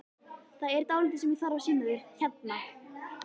Það er dálítið sem ég þarf að sýna þér hérna!